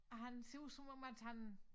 Og han ser ud som om at han